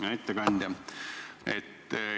Hea ettekandja!